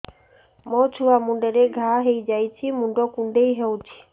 ମୋ ଛୁଆ ମୁଣ୍ଡରେ ଘାଆ ହୋଇଯାଇଛି ମୁଣ୍ଡ କୁଣ୍ଡେଇ ହେଉଛି